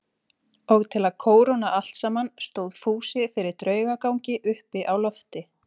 Og til að kóróna allt saman stóð Fúsi fyrir draugagangi uppi á lofti.